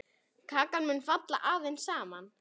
Kakan mun falla aðeins saman.